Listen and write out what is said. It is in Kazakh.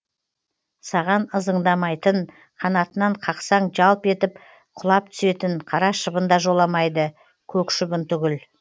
саған ызыңдамайтын қанатынан қақсаң жалп етіп құлап түсетін қара шыбын да жоламайды көк шыбын түгіл